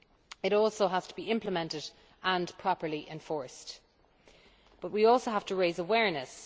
It also has to be implemented and properly enforced and we also have to raise awareness.